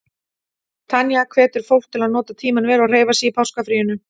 Tanya hvetur fólk til að nota tímann vel og hreyfa sig í páskafríinu.